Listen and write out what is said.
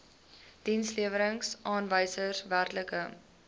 dienslewerings aanwysers werklike